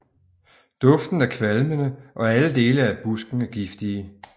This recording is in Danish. Duften er kvalmende og alle dele af busken er giftige